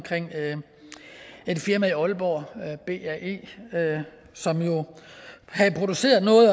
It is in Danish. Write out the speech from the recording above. et firma i aalborg bae som havde produceret noget